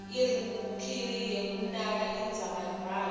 irubhriki yekumaka indzabambhalo